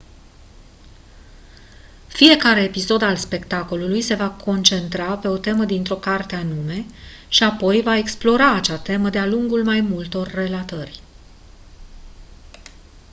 fiecare episod al spectacolului se va concentra pe o temă dintr-o carte anume și apoi va explora acea temă de-a lungul mai multor relatări